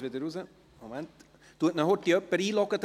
Herr Grupp, Sie haben das Wort.